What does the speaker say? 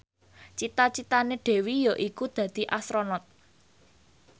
cita citane Dewi yaiku dadi Astronot